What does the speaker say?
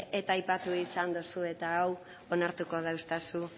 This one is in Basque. eta aipatu izan dozu eta hau onartuko dauztazu